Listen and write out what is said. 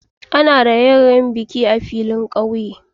Ana yin raƴe-raƴen biki a filin ƙauye.